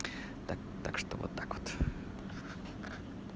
так так что вот так вот